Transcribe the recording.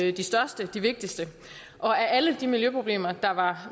er de største og de vigtigste og af alle de miljøproblemer der var